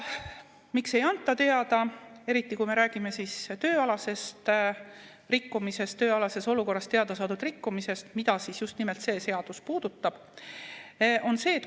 Miks ei anta teada, eriti, kui me räägime tööalasest rikkumisest, tööalases olukorras teada saadud rikkumisest, mida just nimelt see seadus puudutab?